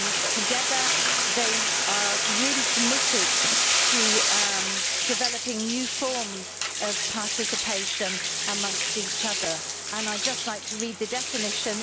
Together they really committed to developing new forms of participation amongst each other, and I would just like to read the definition.